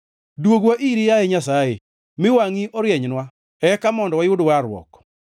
Dwogwa iri, yaye Nyasaye; mi wangʼi orienynwa, eka mondo wayud warruok.